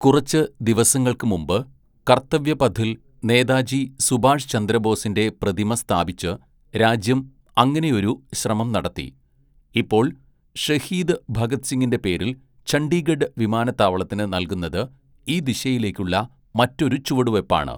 "കുറച്ച് ദിവസങ്ങള്‍ക്ക് മുമ്പ്, കര്‍ത്തവ്യപഥില്‍ നേതാജി സുഭാഷ് ചന്ദ്രബോസിന്റെ പ്രതിമ സ്ഥാപിച്ച് രാജ്യം അങ്ങനെയൊരു ശ്രമം നടത്തി, ഇപ്പോള്‍ ഷഹീദ് ഭഗത് സിംഗിന്റെ പേരിൽ ചണ്ഡിഗഢ് വിമാനത്താവളത്തിന് നല്‍കുന്നത് ഈ ദിശയിലേക്കുള്ള മറ്റൊരു ചുവടുവെപ്പാണ്. "